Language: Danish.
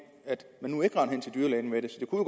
kunne